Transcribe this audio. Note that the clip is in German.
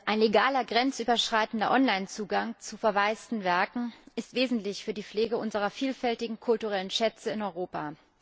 Ein legaler grenzüberschreitender Online Zugang zu verwaisten Werken ist wesentlich für die Pflege unserer vielfältigen kulturellen Schätze in Europa.